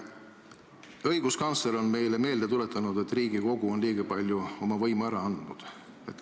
Õiguskantsler on meile meelde tuletanud, et Riigikogu on liiga palju võimu ära andnud.